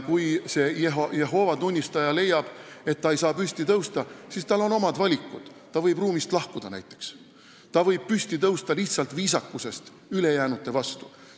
Jehoova tunnistajal on ka omad valikud: ta võib näiteks ruumist lahkuda või lihtsalt viisakusest ülejäänute vastu püsti tõusta.